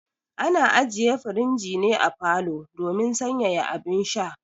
Ana aje firijin ne a falo domin sanyaya abun sha